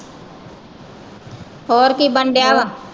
ਹੋਰ ਕੀ ਬਣ ਡਿਆ ਵਾ।